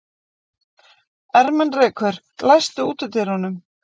Ermenrekur, læstu útidyrunum.